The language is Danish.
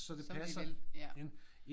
Som de vil ja